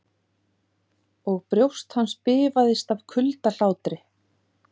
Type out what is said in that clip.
Og brjóst hans bifaðist af kuldahlátri.